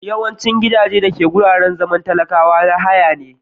Yawaicin gidajen da suke wuraren zaman talakwa na haya ne.